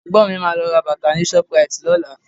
Ẹ̀gbọ́n mi máa lọ ra bàtà ni shoprite lọ́la